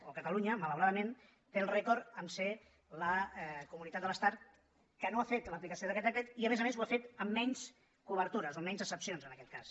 o catalunya malauradament té el rècord de ser la comunitat de l’estat que no ha fet l’aplicació d’aquest decret i a més a més ho ha fet amb menys cobertures o amb menys excepcions en aquest cas